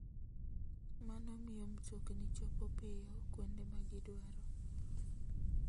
Mano miyo mtokni chopo piyo kuonde ma gidwaro.